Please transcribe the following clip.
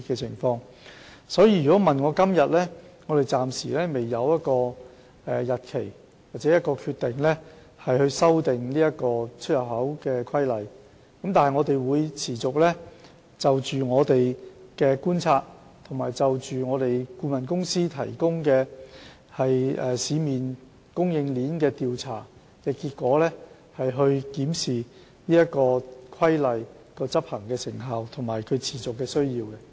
所以，關於何時修訂《規例》，我們暫時未能訂定一個時間表或有任何決定，但我們會持續就觀察所得及顧問公司提供對市面供應鏈的調查結果，檢視《規例》的執行成效和市場的持續需要。